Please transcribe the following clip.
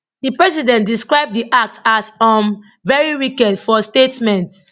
di president describe di act as um very wicked for statement